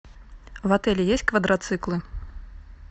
в отеле есть квадроциклы